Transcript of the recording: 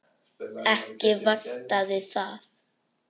Ekki vantaði það.